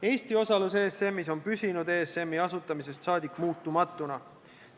Eesti osalus ESM-is on püsinud ESM-i asutamisest saadik muutumatuna.